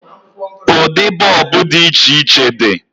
Ụdị bọọbụ dị iche iche di.